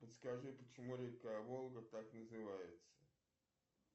подскажи почему река волга так называется